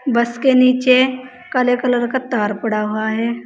बस के नीचे काले कलर का तार पड़ा हुआ है।